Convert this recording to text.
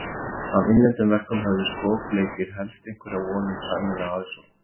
Af innlendum verkum höfðu skopleikir helst einhverja von um sæmilega aðsókn.